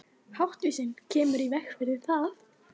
Háttvísin kemur í veg fyrir það.